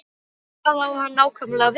En hvað á hann nákvæmlega við?